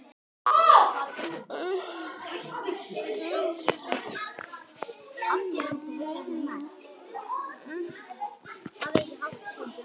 Ég hef aldrei spurt.